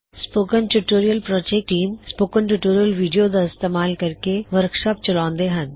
spoken tutorial project team spoken tutorial video ਦਾ ਇਸਤੇਮਾਲ ਕਰਕੇ ਵਰਕਸ਼ਾਪਸ ਚਲਾਉੰਦੀ ਹੇ